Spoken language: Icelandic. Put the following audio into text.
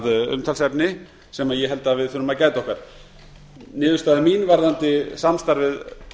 umtalsefni sem ég held að við þurfum að gæta okkar niðurstaða mín varðandi samstarfið